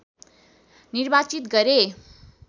निर्वाचित गरे